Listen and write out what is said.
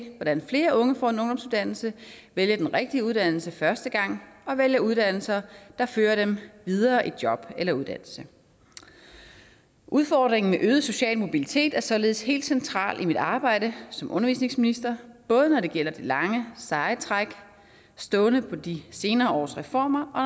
hvordan flere unge får en ungdomsuddannelse vælger den rigtige uddannelse første gang og vælger uddannelse der fører dem videre i job eller uddannelse udfordringen med øget social mobilitet er således helt central i mit arbejde som undervisningsminister både når det gælder det lange seje træk stående på de senere års reformer og